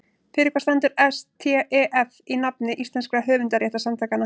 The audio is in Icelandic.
Fyrir hvað stendur STEF í nafni íslenskra höfundarréttarsamtaka?